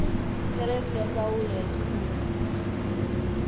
kherefu ya ndzawulo ya xivundza